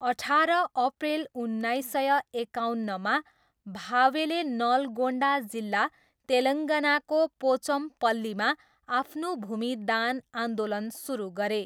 अठार अप्रेल उन्नाइस सय एकाउन्नमा, भावेले नलगोन्डा जिल्ला तेलङ्गानाको पोचमपल्लीमा आफ्नो भूमि दान आन्दोलन सुरु गरे।